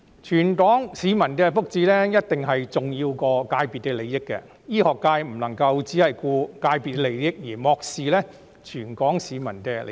全港市民的福祉，一定比界別利益重要；醫學界不能夠只顧界別利益，而漠視全港市民的利益。